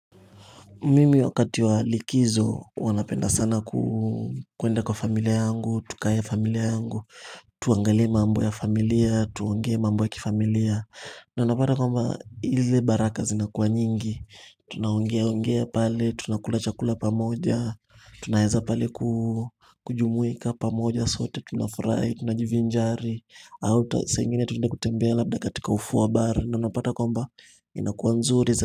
Mimi wakati wa likizo huwa napenda sana kwenda kwa familia yangu, tukae familia yangu, tuangalie mambo ya familia, tuongee mambo ya kifamilia na unapata kwamba ili ile baraka zinakuwa nyingi, tunaongea ongea pale, tunakula chakula pamoja, tunaeza pale kujumuika pamoja sote, tunafurahi, tunajivinjari Ata saa ingine tunaenda kutembea labda katika ufuo wa bahari na unapata kwamba inakuwa nzuri.